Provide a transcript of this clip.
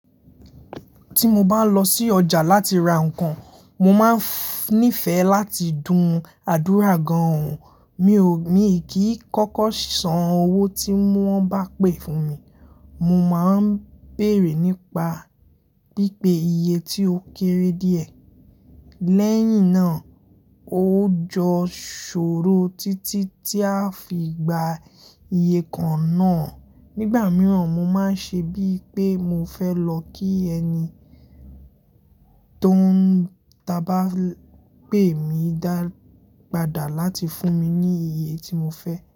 Tí mo bá lọ sí ọjà láti ra nǹkan, mo máa ń nífẹ̀ẹ́ láti dùn àdúrà gan-an. Mi ò, mi kì í kọ́kọ́ san owó tí wọ́n bá pè fún mi. Mo máa ń béèrè nípa pípé iye tí ó kéré díẹ̀, lẹ́yìn náà ó jọ sọ̀rọ̀ títí tí a fi gba iye kan náà. Nígbà mìíràn mo máa ń ṣe bíi pé mo fẹ́ lọ kí ẹni tó ń ta bá pè mí dá padà láti fún mi ní iye tí mo fẹ́.